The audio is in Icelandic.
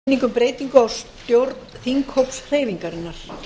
borist hefur eftirfarandi tilkynning um breytingu á stjórn þinghóps hreyfingarinnar